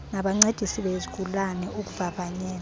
nabancedisi bezigulane ukuvavanyela